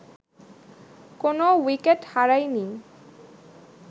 কোনো উইকেট হারায়নি